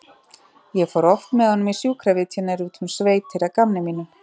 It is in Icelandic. Ég fór oft með honum í sjúkravitjanir út um sveitir að gamni mínu.